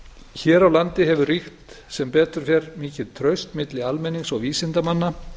hér á landi hefur ríkt sem betur fer mikið traust milli almennings og vísindamanna